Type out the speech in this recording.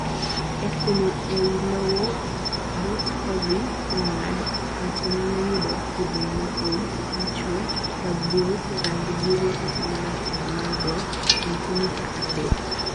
e kunyo eiy lowo but kodhi mongad, ng'ato nyalo yudo kudni maool, machwee, rabuor, rangi buru kata marateng mar bor sentimita adek.